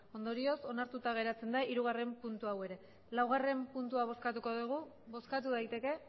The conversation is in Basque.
ondorioz onartuta geratzen da hirugarren puntu hau ere laugarren puntua bozkatuko dugu bozkatu daiteke